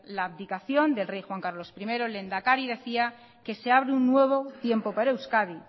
la abdicación del rey juan carlos primero el lehendakari decía que se abre un nuevo tiempo para euskadi